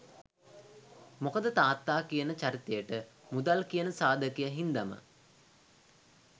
මොකද තාත්තා කියන චරිතයට මුදල් කියන සාධකය හින්දම